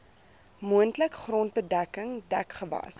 moontlik grondbedekking dekgewas